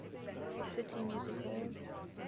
city music hall